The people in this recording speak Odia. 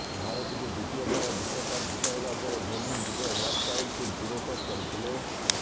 ଭାରତକୁ ଦ୍ବିତୀୟ ଥର ବିଶ୍ବକପ ଜିତାଇବା ପରେ ଧୋନି ନିଜ ହେୟାରଷ୍ଟାଇଲକୁ ଜିରୋ କଟ୍ କରିଥିଲେ